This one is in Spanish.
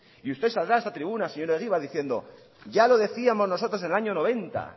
y usted saldrá a esta tribuna señor egibar diciendo que ya lo decíamos nosotros en el año noventa